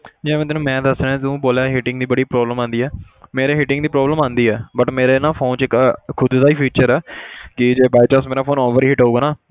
ਜਿਵੇਂ ਤੈਨੂੰ ਮੈਂ ਦੱਸ ਰਿਹਾਂ ਤੁੰ ਬੋਲਿਆ heating ਦੀ ਬੜੀ problem ਆਉਂਦੀ ਹੈ ਮੇਰੇ heating ਦੀ problem ਆਉਂਦੀ ਹੈ but ਮੇਰੇ ਨਾ phone 'ਚ ਇੱਕ ਖੁੱਦ ਦਾ ਹੀ feature ਹੈ ਕਿ by chance ਮੇਰਾ phone overheat ਹੋਊਗਾ ਨਾ,